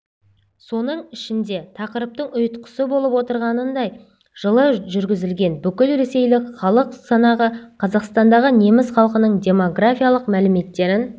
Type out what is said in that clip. соның ішінде тақырыптың ұйытқысы болып отырғанындай жылы жүргізілген бүкілресейлік халық санағы қазақстандағы неміс халқының демографиялық мәліметтерін